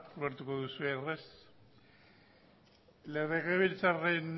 ulertuko duzuenez legebiltzarraren